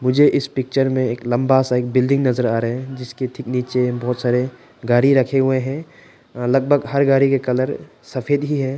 मुझे इस पिक्चर में एक लंबा सा एक बिल्डिंग नजर आ रहे हैं इसके ठीक नीचे बहुत सारे गाड़ी रखे हुए हैं लगभग हर गाड़ी के कलर सफेद ही है।